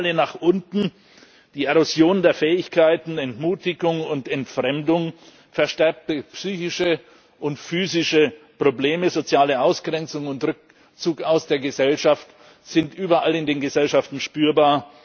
Die Spirale nach unten, die Erosion der Fähigkeiten, Entmutigung und Entfremdung, verstärkte psychische und physische Probleme, soziale Ausgrenzung und Rückzug aus der Gesellschaft sind überall in den Gesellschaften spürbar.